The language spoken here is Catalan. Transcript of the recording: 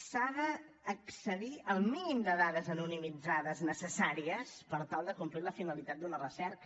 s’ha d’accedir al mínim de dades anonimitzades necessàries per tal de complir la finalitat d’una recerca